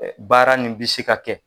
Ɛɛ baara nin bɛ se ka kɛ